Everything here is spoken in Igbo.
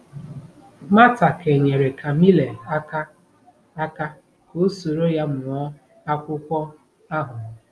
Mata kenyere Camille aka aka ka o soro ya mụọ akwụkwọ ahụ.